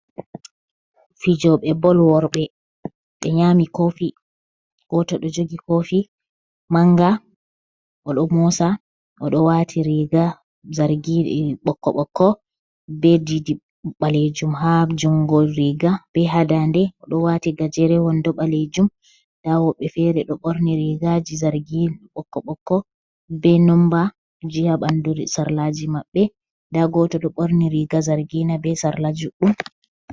Fijoɓe bol worɓe ɓe nyami kofi. Goto ɗo jogi kofi manga o ɗo mosa. Oɗo wati riga zargiina ɓokko ɓokko ɓe ɗiɗi ɓalejum, ha jungo riga be ha dande. Oɗo wati garewol ɗo ɓalejum, nda woɓɓe fere ɗo ɓorni rigaji zargina ɓokko ɓokko, be nomba ji ha ɓandu sarlaji mabbe. Nda goto ɗo ɓorni riga zargina be sarla juɗɗum.